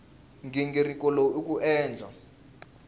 nghingiriko lowu i ku endla